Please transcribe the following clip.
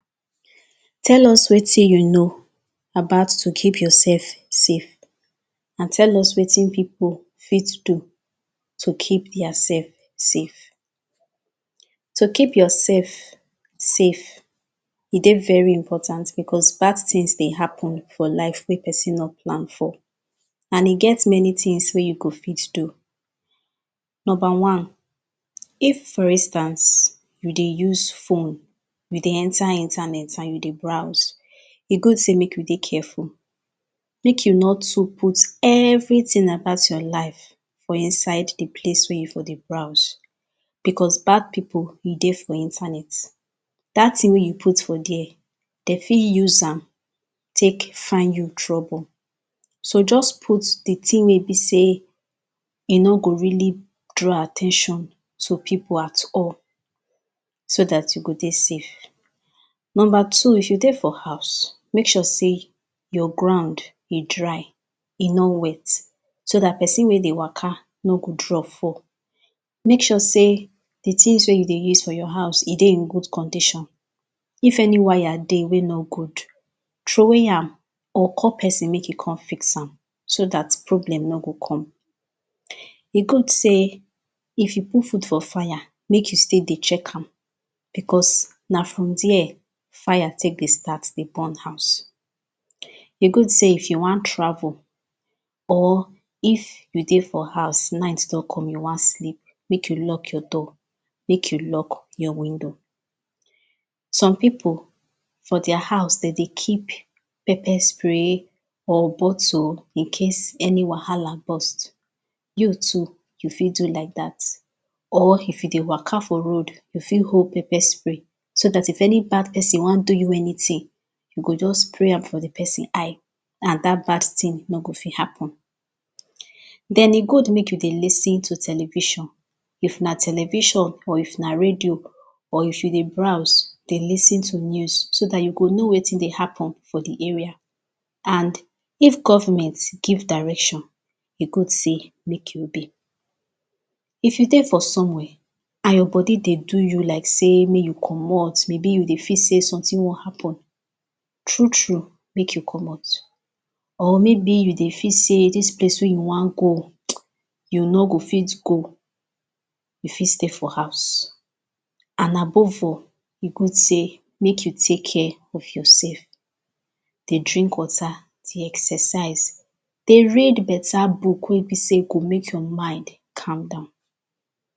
Tell us wetin you know about to keep yourself safe and tell us wetin people fit do to keep diaself safe To keep yourself safe, e dey very important because bad things dey happen for life wey person no plan for and e get many things wey you go fit do. Number one. If for instance, you dey use phone, you dey enter internet and you dey browse, e good sey make you dey careful, make you nor too put everything about your life for inside the place wey you dey browse, because bad people dey for internet, that thing wey you put for there, dem fit use am take find you trouble, so just put that thing wey be sey e no too, e no go really draw at ten tion to people at all so that you go dey safe. Number two, if you dey for house, make sure sey your ground, e dry, e no wey, so that person wey dey Waka, no go draw fall Make sure sey the things wey you dey use for your house, e dey in good condition If any wire dey wey no good, throwey am, or call person make e come fix am so that problem nor go come E good sey if you put food for fire, make you stay dey check am, because na from there fire take dey start dey burn house E good sey if you wan travel, or if you dey for house, night don come, you wan sleep, make you lock your door, make you lock your window Some people for their house dem dey keep pepper spray, or bottle Incase any wahala burst. You too you fit do like that Or if you dey Waka for road, you fit hold pepper spray So that in case any bad person wan do you anything, you go just spray am for that person eye and that bad thing no go fit happen Then e good make you dey lis ten to television, if na television, if na radio, or if you dey browse, dey lis ten to news, so that you go know wetin dey hall for the area and if government give direction, e good sey make you obey If you dey for somewhere, and your body dey do you like sey make you comot, maybe you dey feel sey something wan happen, true true, make you comot. Or maybe you dey feel sey this place wey you wan go, you no go fit go, you fit stay for house. And above all, e good sey make you take care of yourself. Dey drink water, dey exercise, dey read better book wey be sey go make your mind calm down